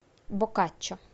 боккаччо